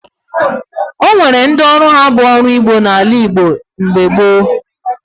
O nwere ndị ọrụ ha bụ ọrụ ugbo n'ala Igbo mgbe gboo